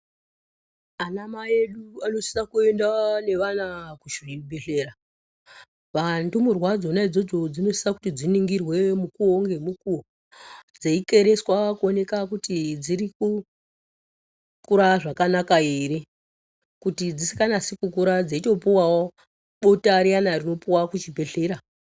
Anamai edu anosisa kuenda nevana kuzvibhedhlera. Ndumurwa idzona idzodzo dzinosisa kuti dziningirwe mukuwo ngemukuwo dzeikereswa kuoneka kuti dziri kukukura zvakanaka here kuti dzisikanasi kukura dzeitopuwawo bota riyana rinopuwa kuchibhedhlera.